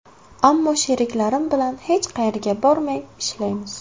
Ammo sheriklarim bilan hech qayerga bormay, ishlaymiz.